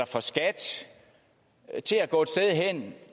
for skat til at gå et sted hen